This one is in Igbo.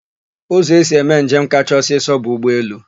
Ụzọ esi eme njem kacha ọsịsọ bụ ụgbọelu.